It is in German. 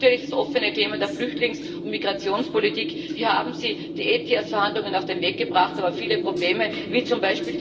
Und natürlich das offene Thema der Flüchtlings und Migrationspolitik Hier haben Sie die ETIAS Verhandlungen auf den Weg gebracht, aber viele Probleme wie z.